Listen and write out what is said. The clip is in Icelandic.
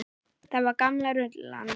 Það var gamla rullan.